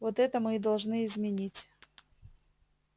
вот это мы и должны изменить